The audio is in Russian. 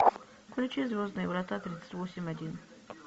включи звездные врата тридцать восемь один